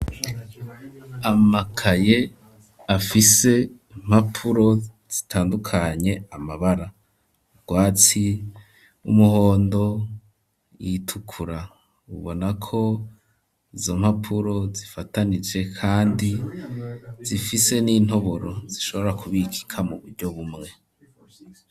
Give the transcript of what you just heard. Amakaye afise impapuro zitandukanye amabara urwatsi umuhondo ayatukura ubona ko izo mpapuro zifatanije kandi zifise n'intoboro zishobora ku bikika mu buryo bumwe.